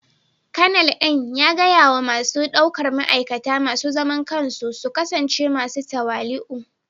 Kanal din ya gaya wa masu daukar ma'aikata masu zaman kansu su kasance masu tawali'u